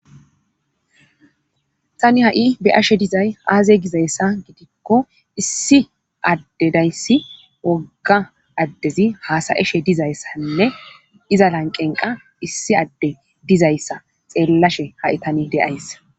tani ha7i beyashe dizay aaze gizayssa gidikko issi adde dayssi wogga addezi haasayeshe dizayssanne iza lanqenqa issi adde dizayssa xeellashe haitani deayssa